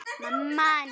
Eru verkin ný?